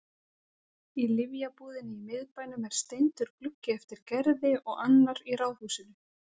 Í lyfjabúðinni í miðbænum er steindur gluggi eftir Gerði og annar í ráðhúsinu.